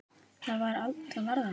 Það varð aldrei.